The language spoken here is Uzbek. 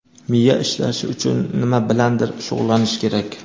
Miya ishlashi uchun nima bilandir shug‘ullanish kerak.